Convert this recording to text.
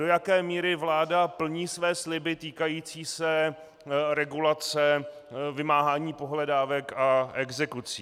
Do jaké míry vláda plní své sliby týkající se regulace vymáhání pohledávek a exekucí.